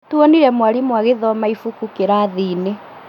Nĩtuonire mwarimũ agĩthoma ibuku kĩrathi-inĩ